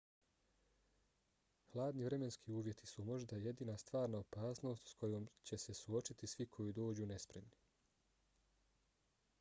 hladni vremenski uvjeti su možda jedina stvarna opasnost s kojom će se suočiti svi koji dođu nespremni